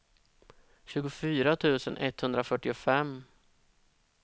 tjugofyra tusen etthundrafyrtiofem